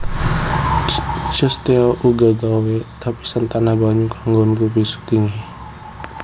Cousteau uga gawé lapisan tahan banyu kanggo nutupi sutinge